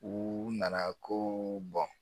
U nana ko